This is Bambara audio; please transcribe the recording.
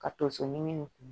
Ka tonso ɲimi